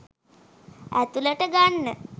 ඇතුලට ගන්න.